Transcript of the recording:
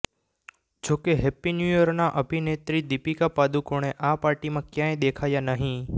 જોકે happy new ઈયરના અભિનેત્રી દીપિકા પાદુકોણે આ પાર્ટીમાં ક્યાંય દેખાયા નહીં